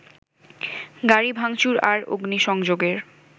গাড়ি ভাংচুর আর অগ্নিসংযোগের